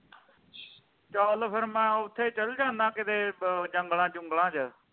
ਚੱਲ ਫਿਰ ਮੈ ਉੱਥੇ ਚੱਲ ਜਾਣਾ ਕਿਤੇ ਜੰਗਲਾਂ ਜੁੰਗਲਾ ਚ